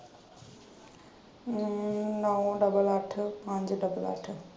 ਅਮ ਨਾਇਆਂ ਡਬਲ ਅੱਠ ਪੰਜ ਡਬਲ ਅੱਠ।